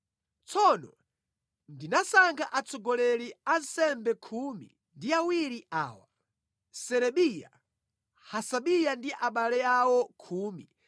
Tsono ndinasankha atsogoleri a ansembe khumi ndi awiri awa, Serebiya, Hasabiya ndi abale awo khumi